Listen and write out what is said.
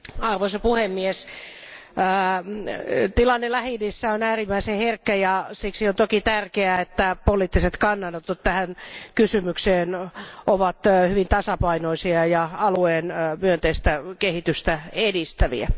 Arvoisa puhemies, tilanne Lähi idässä on äärimmäisen herkkä ja siksi on toki tärkeää, että poliittiset kannanotot tähän kysymykseen ovat hyvin tasapainoisia ja alueen myönteistä kehitystä edistäviä.